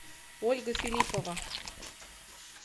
ольга филиппова